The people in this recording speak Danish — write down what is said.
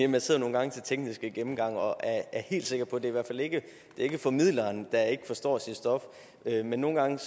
man sidder nogle gange til tekniske gennemgange og er helt sikker på at det i hvert fald ikke er formidleren der ikke forstår sit stof men nogle gange